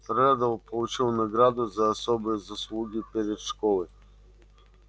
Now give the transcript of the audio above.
реддл получил награду за особые заслуги перед школой